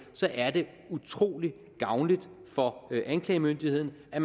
så er det utrolig gavnligt for anklagemyndigheden at